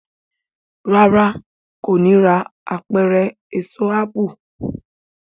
ràrá kò ní rà Apẹ̀rẹ̀ Èso ápù.